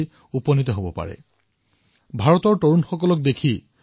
যেতিয়া মই ভাৰতৰ যুৱচামলৈ লক্ষ্য কৰো তেওঁ মই নিজকে আনন্দিত আৰু আশ্বস্ত অনুভৱ কৰো